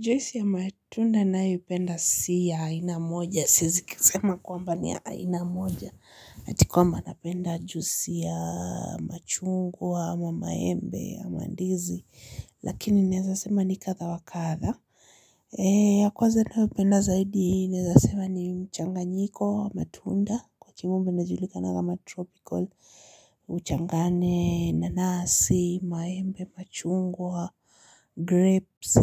Juisi ya matunda nayopenda si ya aina moja. Siwezi kusema kwamba ni ya aina moja. Ati kwamba napenda juisi ya machungwa ama maembe ama ndizi. Lakini naweza sema ni kadha wa kadha. Kwanza ninayopenda zaidi, naweza sema ni mchanganyiko wa matunda. Mchanganyiko inayojulikana kama tripocal uchanganye nanasi maembe machungwa grapes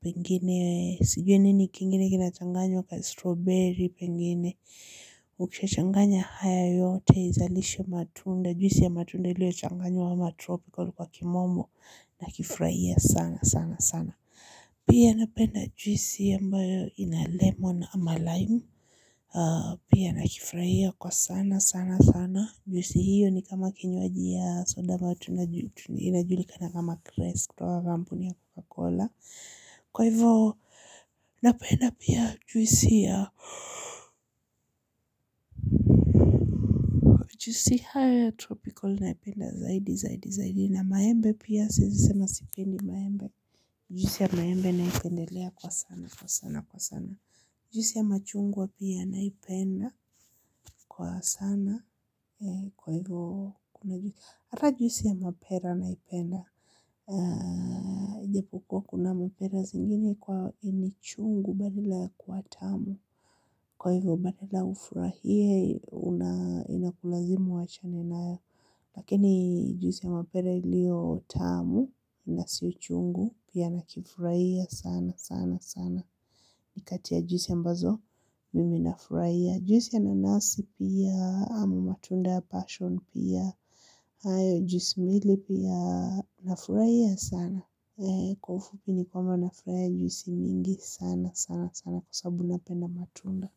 pengine, sijui nini kingine kinachanganyo kama strawberry pengine, utachanganya haya yote izalishe matunda, juisi ya matunda ilio changanywa kama tropical kwa kimombo na kifurahia sana sana sana. Pia napenda juisi ambayo ina lemon ama lime pia nakifurahia kwa sana sana sana juisi hiyo ni kama kinywaji ya soda ambayo tu inajulikana kama krest. Kwa kampuni ya Coca-Cola kwa hivyo napenda pia juisi ya juisi hao ya tropical naipenda zaidi zaidi zaidi na maembe pia siwezi sema sipendi maembe pia. Juisi ya maembe naipendelea kwa sana kwa sana kwa sana. Juisi ya machungwa pia naipenda kwa sana kwa hivyo kuna juisi hata juisi ya mapera naipenda ijapokuwa kuna mapera zingine kwa inachungu badala ya kuwa tamu kwa hivyo badala ufurahie unakulazimu wachane nayo. Lakini juisi ya mapera iliyo tamu na si uchungu pia nakifurahia sana sana sana. Nikati ya juisi ambazo mimi nafurahia. Juisi ya nanasi pia ama matunda ya passion pia hayo juisi mbili pia nafurahia sana. Kwa ufupi ni kwamba nafurahia juisi mingi sana sana sana kwa sababu napenda matunda.